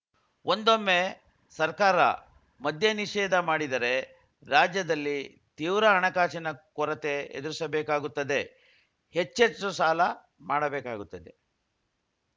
ಒಂದೊಮ್ಮೆ ಸರ್ಕಾರ ಮದ್ಯ ನಿಷೇಧ ಮಾಡಿದರೆ ರಾಜ್ಯದಲ್ಲಿ ತೀವ್ರ ಹಣಕಾಸಿಕನ ಕೊರತೆ ಎದುರಿಸಬೇಕಾಗುತ್ತದೆ ಹೆಚ್ಚೆಚ್ಚು ಸಾಲ ಮಾಡಬೇಕಾಗುತ್ತದೆ